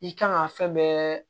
I kan ka fɛn bɛɛ